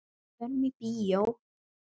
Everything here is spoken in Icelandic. Förum í bíó.